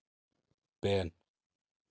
Ben